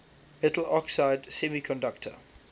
metal oxide semiconductor